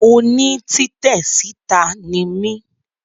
Oní títè síta ni mí